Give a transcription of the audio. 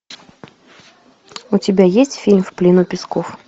у тебя есть фильм в плену песков